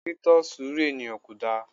Tí tọ surú eníyan Kodá